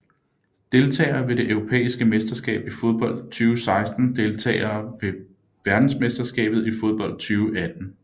Deltagere ved det europæiske mesterskab i fodbold 2016 Deltagere ved verdensmesterskabet i fodbold 2018